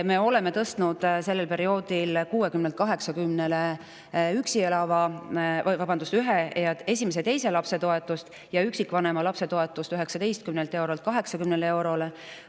Me oleme sellel perioodil tõstnud esimese ja teise lapse eest 60 eurolt 80 eurole ja üksikvanema lapse toetust 19 eurolt 80 eurole.